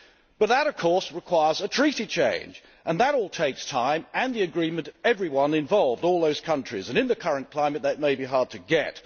Now! But that, of course, requires a treaty change and that all takes time and the agreement of everyone involved all those countries which in the current climate may be hard to